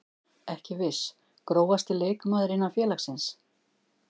Ekki viss Grófasti leikmaður innan félagsins?